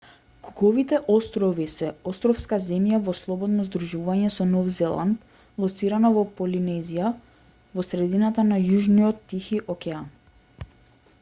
куковите острови се островска земја во слободно здружување со нов зеланд лоцирана во полинезија во средината на јужниот тихи океан